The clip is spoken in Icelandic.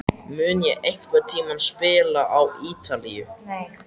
Mun ég einhvern tíma spila á Ítalíu?